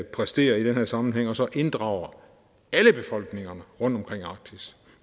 præstere i den her sammenhæng og så inddrager alle befolkninger rundtomkring arktis